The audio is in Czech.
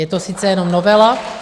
Je to sice jenom novela...